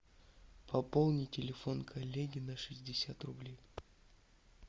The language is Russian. пополни телефон коллеги на шестьдесят рублей